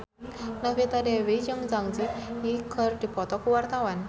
Novita Dewi jeung Zang Zi Yi keur dipoto ku wartawan